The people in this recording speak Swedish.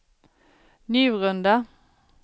Njurunda